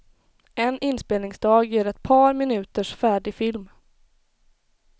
En inspelningsdag ger ett par minuters färdig film.